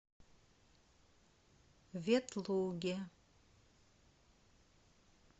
ветлуге